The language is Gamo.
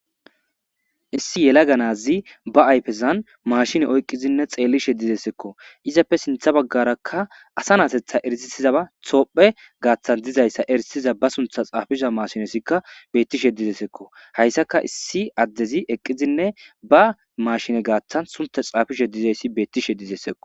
Issi yela ganazi ba ayfezan mashine oyqqizinne xeellishe didesekko izappe sintha baggarakka asa naasetha erisisizaba thoophe gaaththan dizayssa erisiza ba suntha xaafiza mashinesikka beettishe didesekko hayssaka issi addezi eqqizinne ba mashine gaathtan sunta xaafishe dizayssi beettishe dizesekko.